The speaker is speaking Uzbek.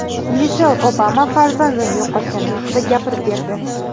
Mishel Obama farzandini yo‘qotgani haqida gapirib berdi.